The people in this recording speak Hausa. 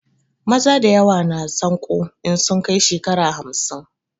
Maza dayawa na sanƙo in sun kai shekara hamsin